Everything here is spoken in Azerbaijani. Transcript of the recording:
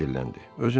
Ejen dilləndi.